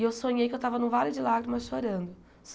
E eu sonhei que eu estava num vale de lágrimas chorando.